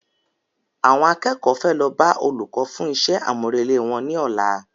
Àwọn akẹ́kọ̀ọ́ fẹ́ lọ bá Olùkọ́ fún iṣẹ́ àmúrelé wọn ní ọ̀la